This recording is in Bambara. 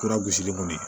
Kura gosi kɔni